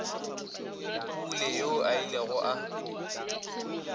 mpule yoo a ilego a